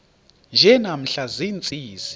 nje namhla ziintsizi